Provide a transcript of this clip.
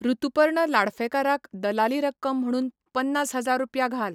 ऋतुपर्ण लाडफेकार क दलाली रक्कम म्हणून पन्नास हजार रुपया घाल